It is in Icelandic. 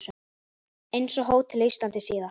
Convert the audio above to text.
Eins á Hótel Íslandi síðar.